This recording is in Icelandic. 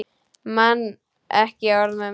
Man ekki orð mömmu.